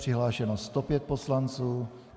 Přihlášeno 105 poslanců.